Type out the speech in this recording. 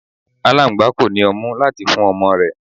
Aláńgbá kò ní ọmú láti fún ọmọ rẹ̀.